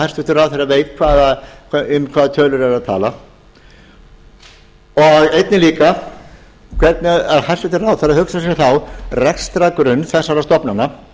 hæstvirtur ráðherra veit um hvaða tölur er að tala og einnig líka hvernig hæstvirtir ráðherrar hugsa sér þá rekstrargrunn þessara stofnana